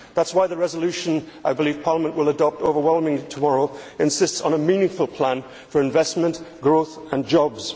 That is why the resolution which I believe Parliament will adopt overwhelmingly tomorrow insists on a meaningful plan for investment, growth and jobs.